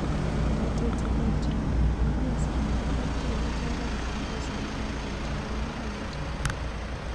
#Ometetipikchok:Amunee sikondei piik chekakichoran eng pichainik ap.laitoriatnda nitok